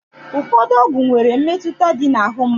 Ụfọdụ ọgwụ nwere mmetụta dị na ahụ mmadụ.